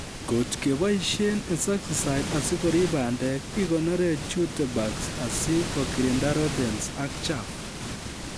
Ngot keboisie insecticides asikorib bandek ikonore jute bags asi kokirinda rodents ak chaff